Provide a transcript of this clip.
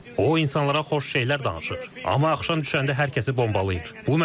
O insanlara xoş şeylər danışır, amma axşam düşəndə hər kəsi bombalayır.